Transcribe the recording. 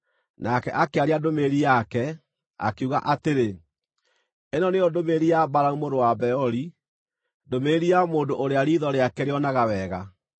nake akĩaria ndũmĩrĩri yake, akiuga atĩrĩ: “Ĩno nĩyo ndũmĩrĩri ya Balamu mũrũ wa Beori, ndũmĩrĩri ya mũndũ ũrĩa riitho rĩake rĩonaga wega,